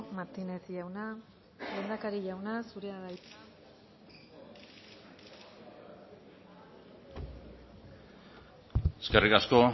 martínez jauna lehendakari jauna zurea da hitza eskerrik asko